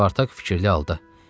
Spartak fikirli halda: